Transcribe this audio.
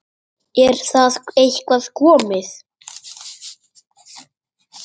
Er það eitthvað komið?